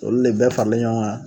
Olu le bɛɛ faralen ɲɔgɔn kan